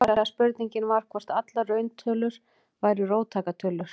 Upphaflega spurningin var hvort allar rauntölur væru róttækar tölur.